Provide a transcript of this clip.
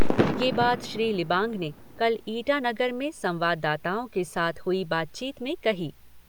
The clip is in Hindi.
यह बात श्री लिबांग ने कल ईटानगर में संवाददाताओं के साथ हुई बातचीत में कही।